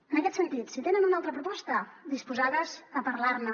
en aquest sentit si tenen una altra proposta disposades a parlar ne